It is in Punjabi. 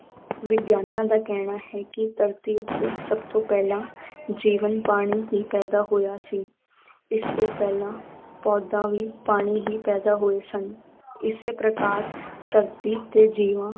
ਵਿਗਿਆਨਾਂ ਦਾ ਕਹਿਣਾ ਹੈ ਕਿ ਧਰਤੀ ਉੱਤੇ ਸਭ ਤੋਂ ਪਹਿਲਾਂ ਜੀਵਨ ਪਾਣੀ ਹੀ ਪੈਦਾ ਹੋਇਆ ਸੀ ਇਸ ਤੋਂ ਪਹਿਲਾਂ ਪੌਦਾ ਵੀ ਪਾਣੀ ਹੀ ਪੈਦਾ ਹੋਏ ਸਨ ਇਸੇ ਪ੍ਰਕਾਰ ਧਰਤੀ ਤੇ ਜੀਵਾਂ